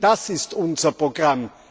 Das ist unser Programm.